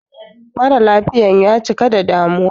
Mara lafiyan ya cika da damuwa